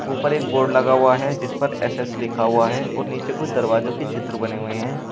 ऊपर एक बोर्ड लगा हुआ है जिस पर एस_एस लिखा हुआ है और नीचे कुछ दरवाजों के चित्र बने हुए हैं।